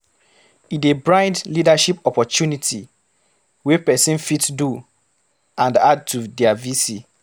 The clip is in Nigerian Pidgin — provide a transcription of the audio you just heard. E dey brind leadership opportunity wey persin fit do and add to their VC